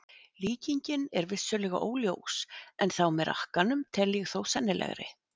Líkingin er vissulega óljós en þá með rakkanum tel ég þó sennilegri.